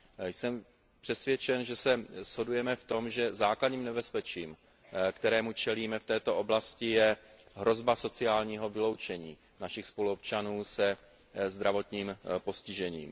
Jsem přesvědčen, že se shodujeme v tom, že základním nebezpečím, kterému čelíme v této oblasti, je hrozba sociálního vyloučení našich spoluobčanů se zdravotním postižením.